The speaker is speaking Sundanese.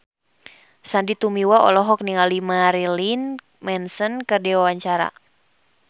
Sandy Tumiwa olohok ningali Marilyn Manson keur diwawancara